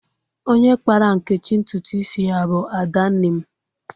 Onye kpara Nkechi ntụtụ isi ya bu Adanne m.